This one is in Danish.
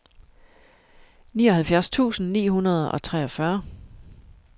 nioghalvfjerds tusind ni hundrede og treogfyrre